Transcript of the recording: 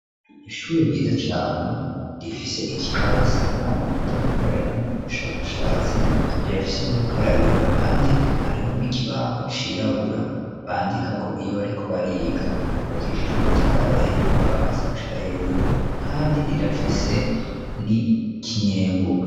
Ishuri ryiza cane ,rifise ikirasi abana bakunda gukoreramwo ,ubushakashatsi rirafise n'ubukarabiro, kandi hariho n'ikibaho cirabura, bandika ko iyo bariko bariga, yubakishije amatafari ahiye, kuva hasi gushika hejuru, kandi rirafise n'ikinyembuga.